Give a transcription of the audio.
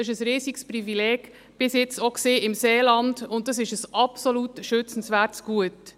Das war bis jetzt auch im Seeland ein riesiges Privileg, und es ist ein absolut schützenswertes Gut.